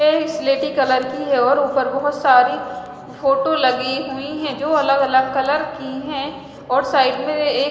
ये सिलेटी कलर की है और ऊपर बहुत सारी फोटो लगी हुई हैं जो अलग अलग कलर की हैं और साइड में एक--